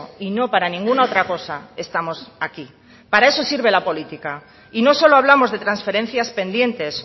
y no para ninguna otra cosa estamos aquí para eso sirve la política y no solo hablamos de transferencias pendientes